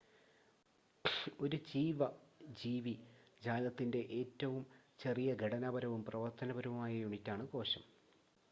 ഒരു ജീവ ജീവി ജാലത്തിന്റെ ഏറ്റവും ചെറിയ ഘടനാപരവും പ്രവർത്തനപരവുമായ യൂണിറ്റാണ് കോശം